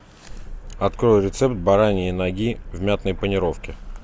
открой рецепт бараньи ноги в мятной панировке